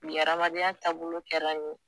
Bi amadenya taabolo kɛra nin ye